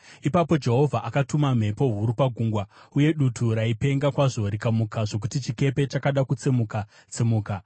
Ipapo Jehovha akatuma mhepo huru pagungwa, uye dutu raipenga kwazvo rikamuka zvokuti chikepe chakada kutsemuka-tsemuka.